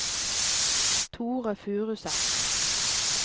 Thore Furuseth